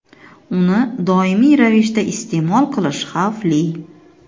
Uni doimiy ravishda iste’mol qilish xavfli.